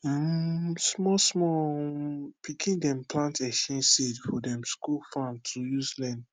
um small small um pikin dem plant exchange seed for dem school farm to use learn